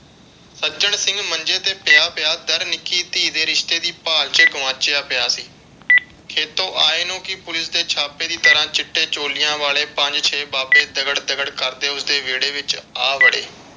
ਸੱਜਣ ਸਿੰਘ ਮੰਜੇ ਤੇ ਪਿਆ ਪਿਆ ਨਿੱਕੀ ਧੀ ਦੇ ਰਿਸ਼ਤੇ ਦੀ ਭਾਲ ਵਿਚ ਗੁਆਚਿਆ ਪਿਆ ਸੀ। ਖੇਤੋਂ ਆਏ ਨੂੰ ਪੁਲਿਸ ਦੇ ਛਾਪੇ ਦੀ ਤਰ੍ਹਾਂ ਚਿੱਟੇ ਛੋਲਿਆਂ ਵਾਲੇ ਪੰਜ ਛੇ ਬਾਬੇ ਦਗੜ ਦਗੜ ਕਰਦੇ ਉਸਦੇ ਵਿਹੜੇ ਵਿਚ ਆ ਵੜੇ।